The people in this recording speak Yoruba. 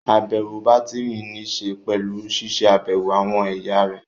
Àbẹ̀wò bátìrì níṣe pẹ̀lú ṣiṣẹ́ àbẹ̀wò àwọn ẹ̀yà rẹ̀